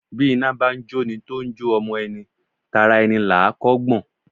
Bí iná bá ń jóni tó ń jó ọmọ ẹni, tara ẹni là á kọ́ gbọ̀n.